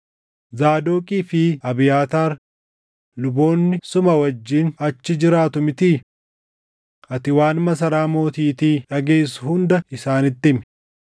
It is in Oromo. Zaadoqii fi Abiyaataar luboonni suma wajjin achi jiraatu mitii? Ati waan masaraa mootiitii dhageessu hunda isaanitti himi.